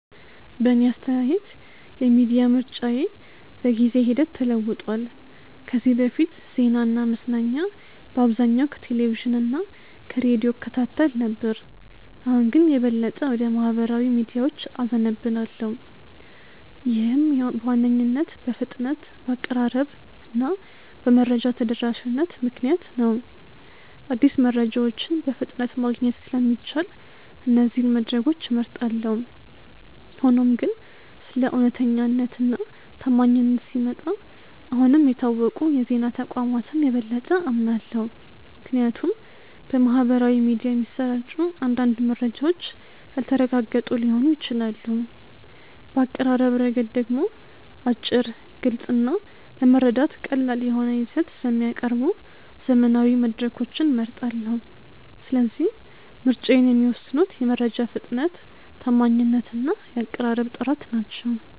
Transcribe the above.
በእኔ አስተያየት የሚዲያ ምርጫዬ በጊዜ ሂደት ተለውጧል። ከዚህ በፊት ዜናና መዝናኛ በአብዛኛው ከቴሌቪዥን እና ከሬዲዮ እከታተል ነበር፣ አሁን ግን የበለጠ ወደ ማኅበራዊ ሚዲያዎች እዘነብላለሁ። ይህም በዋነኝነት በፍጥነት፣ በአቀራረብ እና በመረጃ ተደራሽነት ምክንያት ነው። አዲስ መረጃዎችን በፍጥነት ማግኘት ስለሚቻል እነዚህን መድረኮች እመርጣለሁ። ሆኖም ግን ስለ እውነተኛነት እና ታማኝነት ሲመጣ አሁንም የታወቁ የዜና ተቋማትን የበለጠ አምናለሁ፣ ምክንያቱም በማኅበራዊ ሚዲያ የሚሰራጩ አንዳንድ መረጃዎች ያልተረጋገጡ ሊሆኑ ይችላሉ። በአቀራረብ ረገድ ደግሞ አጭር፣ ግልጽ እና ለመረዳት ቀላል የሆነ ይዘት ስለሚያቀርቡ ዘመናዊ መድረኮችን እመርጣለሁ። ስለዚህ ምርጫዬን የሚወስኑት የመረጃ ፍጥነት፣ ታማኝነት እና የአቀራረብ ጥራት ናቸው።